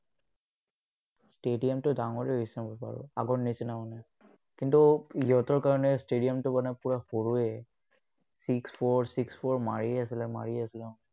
stadium তো ডাঙৰে মোৰ হিচাপত বাৰু, আগৰ নিচিনা মানে। কিন্তু, ইহঁতৰ কাৰণে stadium তো মানে পুৰা সৰুৱে। six-four six-four মাৰিয়েই আছিলে, মাৰিয়েই আছিলে।